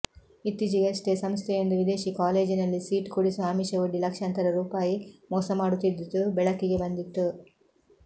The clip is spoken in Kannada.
ಇತ್ತೀಚಿಗಷ್ಟೆ ಸಂಸ್ಥೆಯೊಂದು ವಿದೇಶಿ ಕಾಲೇಜಿನಲ್ಲಿ ಸೀಟು ಕೊಡಿಸುವ ಆಮಿಷ ಒಡ್ಡಿ ಲಕ್ಷಾಂತರ ರುಪಾಯಿ ಮೋಸ ಮಾಡುತ್ತಿದ್ದುದು ಬೆಳಕಿಗೆ ಬಂದಿತ್ತು